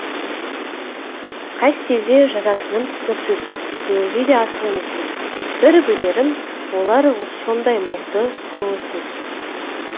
қай стильде жазатыным түсініксіз білуге де асық емеспін бір білерім олар сондай мұңды көңілсіз